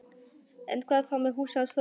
En hvað þá með húsið hans Þorsteins?